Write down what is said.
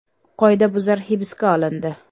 Qoidabuzar hibsga olindi.